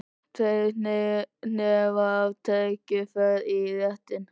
Tveir hnefar af rækjum fara í réttinn.